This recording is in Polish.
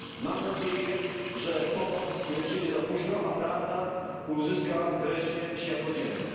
Mam nadzieję, że pomoc nie przyjdzie za późno, a prawda ujrzy wreszcie światło dzienne.